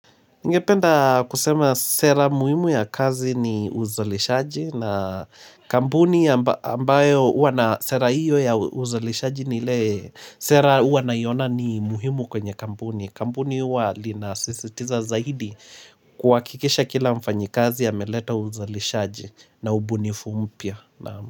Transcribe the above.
Ningependa kusema sera muhimu ya kazi ni uzalishaji na kampuni ambayo uwa na sera iyo ya uzalishaji ni le sera uwa naiona mi muhimu kwenye kampuni. Kampuni uwa linasisitiza zaidi kuwakikisha kila mfanyikazi ameleta uzalishaji na ubunifu mpya.